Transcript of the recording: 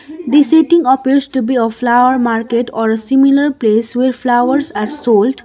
the setting appears to a flower market or a similar place where flowers are sold.